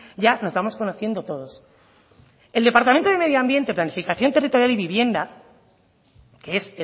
ya nos vamos conociendo todos el departamento de medio ambiente planificación territorial y vivienda que es